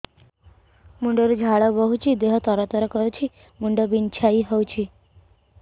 ମୁଣ୍ଡ ରୁ ଝାଳ ବହୁଛି ଦେହ ତର ତର କରୁଛି ମୁଣ୍ଡ ବିଞ୍ଛାଇ ହଉଛି